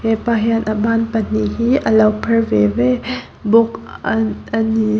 hepa hian a ban pahnih hi a lo phar ve ve bawk a ni.